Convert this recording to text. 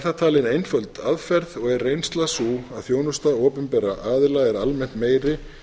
það talin einföld aðferð og er reynslan sú að þjónusta opinberra aðila er almennt meiri